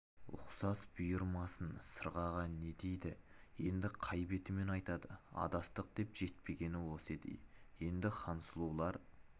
ұқсас бұйырмасын сырғаға не дейді енді қай бетімен айтады адастық деп жетпегені осы еді ей енді хансұлулар